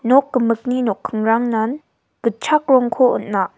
nok gimikni nokkingrangnan gitchak rongko on·a.